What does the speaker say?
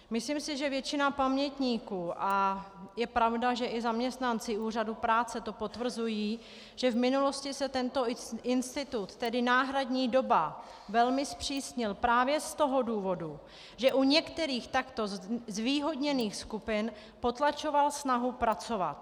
Myslím si, že většina pamětníků, a je pravda, že i zaměstnanci úřadu práce to potvrzují, že v minulosti se tento institut, tedy náhradní doba, velmi zpřísnil právě z toho důvodu, že u některých takto zvýhodněných skupin potlačoval snahu pracovat.